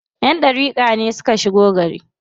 Ƴan ɗariƙa ne suka shigo gari.